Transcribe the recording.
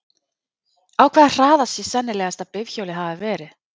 Á hvaða hraða sé sennilegast að bifhjólið hafi verið?